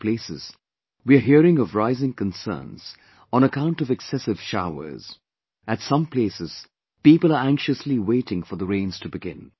At places, we are hearing of rising concerns on account of excessive showers; at some places, people are anxiously waiting for the rains to begin